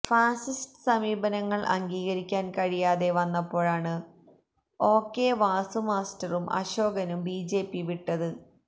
fascist സമീപനങ്ങള് അംഗീകരിക്കാന് കഴിയാതെ വന്നപ്പോഴാണ് ഒ കെ വാസുമാസ്റ്ററും അശോകനും ബി ജെ പി വിട്ടത്